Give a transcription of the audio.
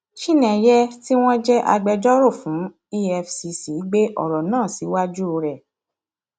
chinéyé tí wọn jẹ agbẹjọrò fún efcc gbé ọrọ náà síwájú rẹ